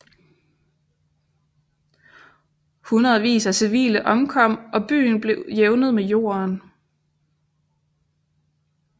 Hundredvis af civile omkom og byen blev jævnet med jorden